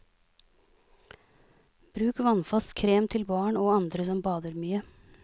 Bruk vannfast krem til barn og andre som bader mye.